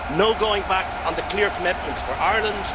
no going back on the clear commitments for Ireland